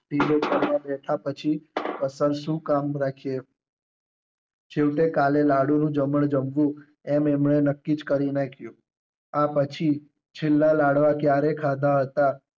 બેઠા પછી કસર શું કામ રાખીએ. છેવટે કાલે લાડુ નું જમણ જમવું એમ એમણે નક્કી જ કરી નાખ્યું. આ પછી છેલ્લા લાડવા ક્યારે ખાધા હતા